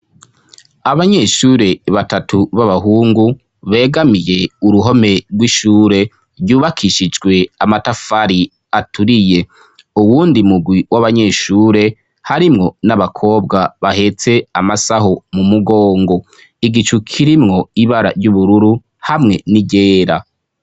Abanyeshure batatu b'abahungu, begamiye uruhome rw'ishure ryubakishijwe amatafari aturiye. Uwundi mugwi w'abanyeshure harimwo n'abakobwa bahetse amasaho mu mugongo, igicu kirimwo ibara ry'ubururu hamwe n'iryera.